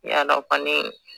I y'a dɔn kɔni